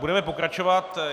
Budeme pokračovat.